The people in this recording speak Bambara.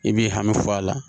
I b'i hami fɔ a la